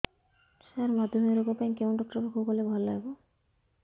ସାର ମଧୁମେହ ରୋଗ ପାଇଁ କେଉଁ ଡକ୍ଟର ପାଖକୁ ଗଲେ ଭଲ ହେବ